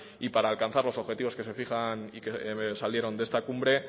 y para alcanzar los objetivos que se fijan y que salieron de esta cumbre